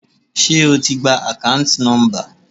Ṣé o ti gba akanti nomba.